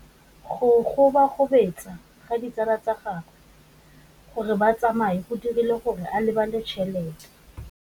Go gobagobetsa ga ditsala tsa gagwe, gore ba tsamaye go dirile gore a lebale tšhelete.